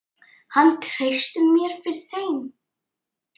Hann treysti mér fyrir þeim.